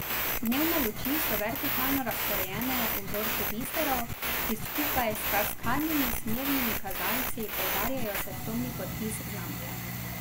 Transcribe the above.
Dnevne luči so vertikalno razporejene v vzorcu biserov, ki skupaj s kaskadnimi smernimi kazalci poudarjajo svetlobni podpis znamke.